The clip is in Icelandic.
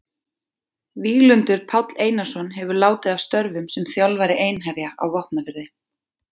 Víglundur Páll Einarsson hefur látið af störfum sem þjálfari Einherja á Vopnafirði.